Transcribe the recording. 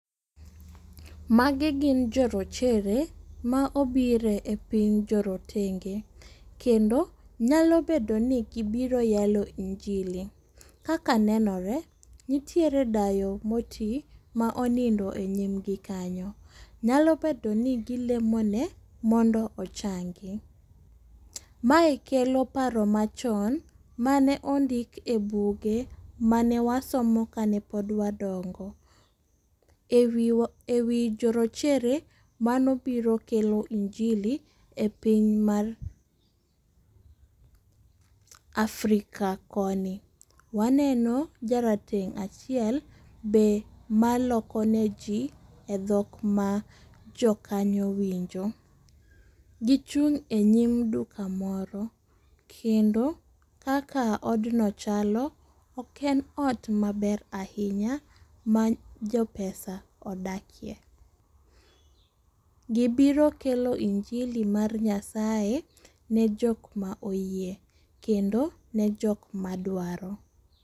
Magi gin jorochere, ma obire e piny jorotenge. Kendo nyalo bedo ni gibiro yalo injili. Kaka nenore, nitiere dayo ma oti, ma onindo e nyimgi kanyo. Nyalo bedo ni gilemo ne mondo ochangi. Mae kelo paro machon, Mane ondik e buge manewasomo ka ne pod wadongo. E wi e wi jorochere mane obiro kelo injili e piny mar Africa koni. Waneno jarateng' achiel be maloko ne ji e dhok ma jokanyo winjo. Gichung' e nyim duka moro, kendo kaka odno chalo, ok en ot maber ahinya, ma jopesa odakie. Gibiro kelo injili mar Nyasaye ne jok ma oyie, kendo ne jok ma dwaro.